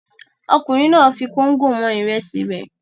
Ọkùnrin náà fi kóńgò wọn ìrẹsì rẹ̀.